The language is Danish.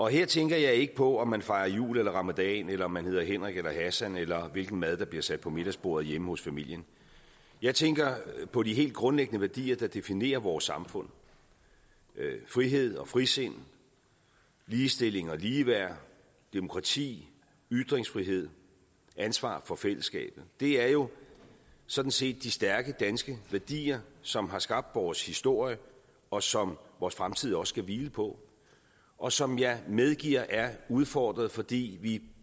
her tænker jeg ikke på om man fejrer jul eller ramadan eller om man hedder henrik eller hassan eller hvilken mad der bliver sat på middagsbordet hjemme hos familien jeg tænker på de helt grundlæggende værdier der definerer vores samfund frihed og frisind ligestilling og ligeværd demokrati ytringsfrihed ansvar for fællesskabet det er jo sådan set de stærke danske værdier som har skabt vores historie og som vores fremtid også skal hvile på og som jeg medgiver er udfordret fordi vi